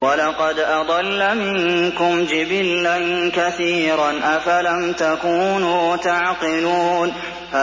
وَلَقَدْ أَضَلَّ مِنكُمْ جِبِلًّا كَثِيرًا ۖ أَفَلَمْ تَكُونُوا تَعْقِلُونَ